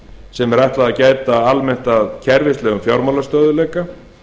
sem er ætlað að gæta almennt að kerfislægu fjármálastöðugleika